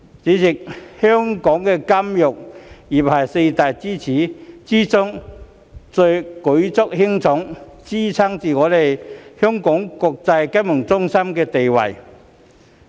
主席，香港金融業是四大支柱之中最為舉足輕重，支撐着我們國際金融中心地位的。